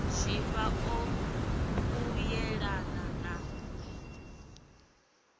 zwifha ṱo u yelana na